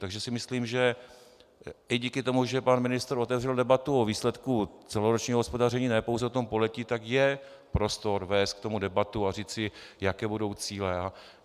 Takže si myslím, že i díky tomu, že pan ministr otevřel debatu o výsledku celoročního hospodaření, ne pouze o tom pololetí, tak je prostor vést k tomu debatu a říci, jaké budou cíle.